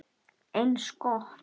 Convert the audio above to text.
Eins gott.